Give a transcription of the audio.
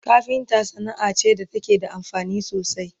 kafinta Sanaa ce da take da amfani sosai